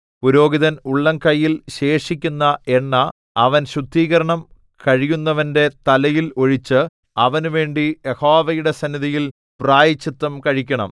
പുരോഹിതൻ ഉള്ളംകൈയിൽ ശേഷിക്കുന്ന എണ്ണ അവൻ ശുദ്ധീകരണം കഴിയുന്നവന്റെ തലയിൽ ഒഴിച്ച് അവനുവേണ്ടി യഹോവയുടെ സന്നിധിയിൽ പ്രായശ്ചിത്തം കഴിക്കണം